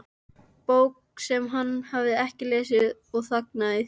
Bók sem hann hafði ekki lesið og þagnaði því.